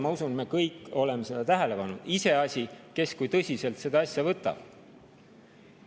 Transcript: Ma usun, me kõik oleme seda tähele pannud, iseasi, kes kui tõsiselt seda asja võtab.